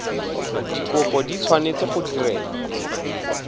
dikopo di tshwanetse go direlwa